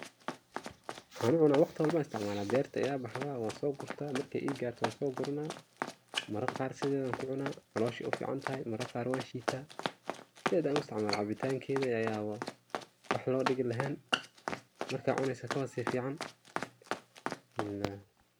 waxan u cunaa waqti walbo an isticmaala, derti ayay baxda wan soo gurta markay ii garto wan soo gurana ,marar qaar sideedan ku cunaa, caloshay u ficantahay, marar qaar wan shiitazaaid an u isticmaala, cabitankeeda ayaba wax loo dhigi laheyn, marakd cuneyso kabasii fican